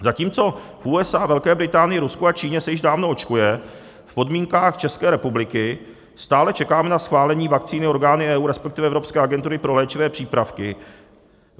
Zatímco v USA, Velké Británii, Rusku a Číně se již dávno očkuje, v podmínkách České republiky stále čekáme na schválení vakcíny orgány EU, respektive Evropské agentury pro léčivé přípravky.